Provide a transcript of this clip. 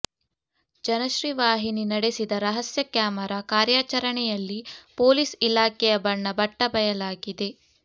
ಜನಶ್ರೀ ವಾಹಿನಿ ನಡೆಸಿದ ರಹಸ್ಯ ಕ್ಯಾಮೆರಾ ಕಾರ್ಯಾಚರಣೆಯಲ್ಲಿ ಪೋಲೀಸ್ ಇಲಾಖೆಯ ಬಣ್ಣ ಬಟ್ಟ ಬಯಲಾಗಿದೆ